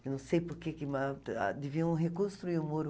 Eu não sei por que, mas ah deviam reconstruir o muro.